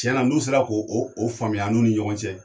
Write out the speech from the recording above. Cɛna n'u sera k'o o faamuya an ni ɲɔgɔn cɛ